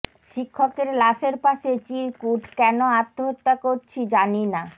শিক্ষকের লাশের পাশে চিরকুট কেন আত্মহত্যা করছি জানি না